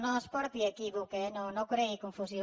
no ens porti a equívoc eh no no creï confusió